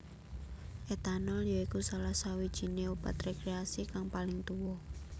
Etanol ya iku salah sawijiné obat rekreasi kang paling tuwa